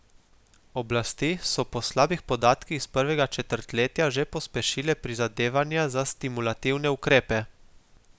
Oblasti so po slabih podatkih iz prvega četrtletja že pospešile prizadevanja za stimulativne ukrepe.